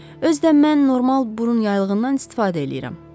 Özdə mən normal burun yaylığından istifadə eləyirəm.